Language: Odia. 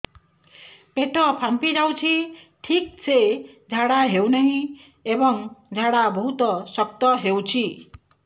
ପେଟ ଫାମ୍ପି ଯାଉଛି ଠିକ ସେ ଝାଡା ହେଉନାହିଁ ଏବଂ ଝାଡା ବହୁତ ଶକ୍ତ ହେଉଛି